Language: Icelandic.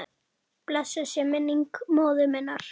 Blessuð sé minning móður minnar.